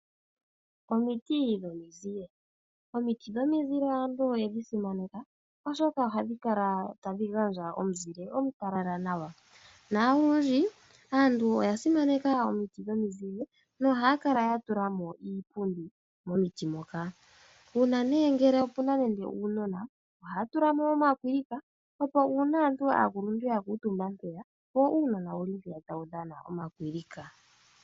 Omiti dhomizile. Omiti dhomizile aantu oye dhi simaneka, oshoka oha dhi kala tadhi gandja omuzile omutalala nawa, na olundji aantu oya simaneka omiti dhomizile, noha ya kala ya tula mo iipundi momiti moka. Uuna nee ngele opu na nande uunona, ohaya tula mo omakwilika, opo uuna aantu aakuluntu ya kuutumba mpeya, wo uunona owu li mpeya tawu dhana omakwilika.